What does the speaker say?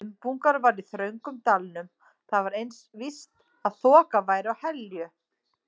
Dumbungur var í þröngum dalnum, þá var eins víst að þoka væri á Helju.